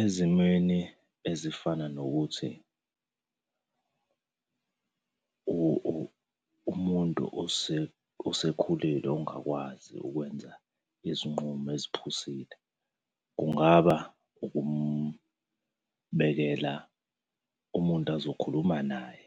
Ezimweni ezifana nokuthi umuntu osekhulile ongakwazi ukwenza izinqumo eziphusile, kungaba ukumbekela umuntu azokhuluma naye